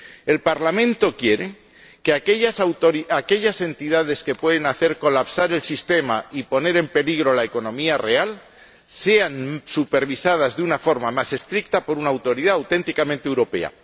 El Parlamento quiere que aquellas entidades que pueden hacer colapsar el sistema y poner en peligro la economía real sean supervisadas de una forma más estricta por una autoridad auténticamente europea.